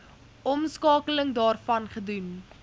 omskakeling daarvan gedoen